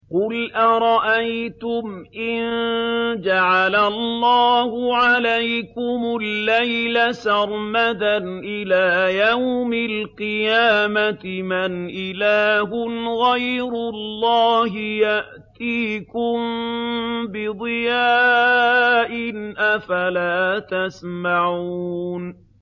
قُلْ أَرَأَيْتُمْ إِن جَعَلَ اللَّهُ عَلَيْكُمُ اللَّيْلَ سَرْمَدًا إِلَىٰ يَوْمِ الْقِيَامَةِ مَنْ إِلَٰهٌ غَيْرُ اللَّهِ يَأْتِيكُم بِضِيَاءٍ ۖ أَفَلَا تَسْمَعُونَ